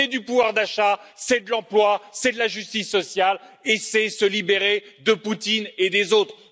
C'est du pouvoir d'achat, c'est de l'emploi, c'est de la justice sociale et c'est se libérer de Poutine et des autres.